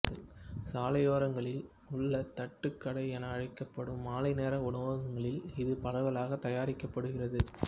சாலையோரங்களில் உள்ளதட்டுக் கடை என அழைக்கப்படும் மாலை நேர உணவங்களில் இது பரவலாக தயாரிக்கப்படுகிறது